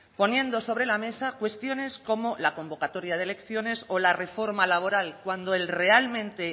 poniendo sobre la mesa cuestiones como la convocatoria de elecciones o la reforma laboral cuando realmente